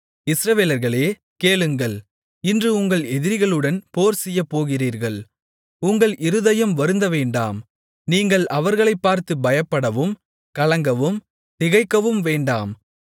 இஸ்ரவேலர்களே கேளுங்கள் இன்று உங்கள் எதிரிகளுடன் போர்செய்யப் போகிறீர்கள் உங்கள் இருதயம் வருந்தவேண்டாம் நீங்கள் அவர்களைப் பார்த்து பயப்படவும் கலங்கவும் திகைக்கவும் வேண்டாம்